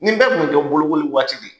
Nin bɛɛ kun bɛ kɛ bolokoli waati